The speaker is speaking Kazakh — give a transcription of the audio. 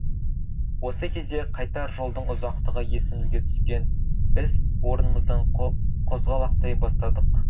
осы кезде қайтар жолдың ұзақтығы есімізге түскен біз орнымыздан қозғалақтай бастадық